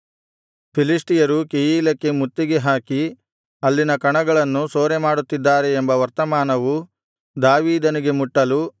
ಫಿಲಿಷ್ಟಿಯರು ಕೆಯೀಲಕ್ಕೆ ಮುತ್ತಿಗೆ ಹಾಕಿ ಅಲ್ಲಿನ ಕಣಗಳನ್ನು ಸೂರೆಮಾಡುತ್ತಿದ್ದಾರೆ ಎಂಬ ವರ್ತಮಾನವು ದಾವೀದನಿಗೆ ಮುಟ್ಟಲು